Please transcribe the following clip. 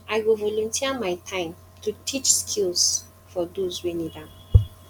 i go volunteer my time to teach skills for those wey need am